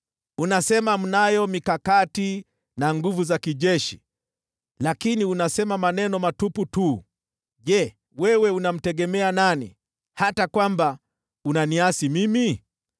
Unasema mnayo mikakati na nguvu za kijeshi, lakini unasema maneno matupu tu. Je, wewe unamtegemea nani, hata ukaniasi mimi?